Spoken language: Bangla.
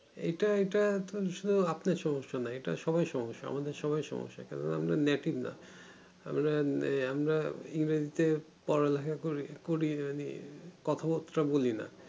এইটা এইটা শুধু আপনার সমস্যা না এটা সবরের সমেস্যা আমাদের সবারির সমস্যা কারণ আমরা নাতিক না আমরা এই আমরা ইংরেজিতে পড়া লিখা করি কথা বাত্রা বলি না